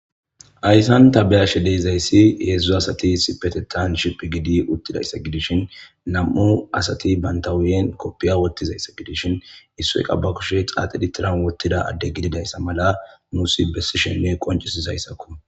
Hayssan ta be'ashe dizayssi hedzdzu asati issippetettan shiphphi giidi uttidayssa gidishin, nami'u asati banta huphphen kopiya wottidayssa gidishin issoy qasse ba kushe tiran xaaxi wottida adde gididayssa mala nuussi bessishenne qonccisisizayssakko.